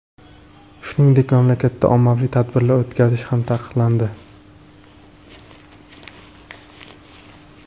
Shuningdek, mamlakatda ommaviy tadbirlar o‘tkazish ham taqiqlandi .